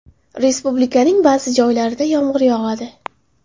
Respublikaning ba’zi joylarida yomg‘ir yog‘adi.